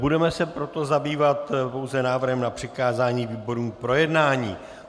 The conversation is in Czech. Budeme se proto zabývat pouze návrhem na přikázání výborům k projednání.